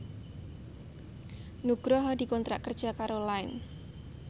Nugroho dikontrak kerja karo Line